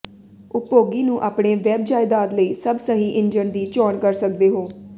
ਉਪਭੋਗੀ ਨੂੰ ਆਪਣੇ ਵੈੱਬ ਜਾਇਦਾਦ ਲਈ ਸਭ ਸਹੀ ਇੰਜਣ ਦੀ ਚੋਣ ਕਰ ਸਕਦੇ ਹੋ